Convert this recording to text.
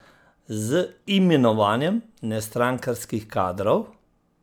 Z imenovanjem nestrankarskih kadrov?